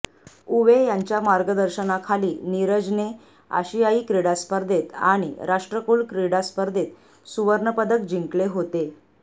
उवे यांच्या मार्गदर्शनाखाली नीरजने आशियाई क्रीडा स्पर्धेत आणि राष्ट्रकुल क्रीडा स्पर्धेत सुवर्णपदक जिंकले होते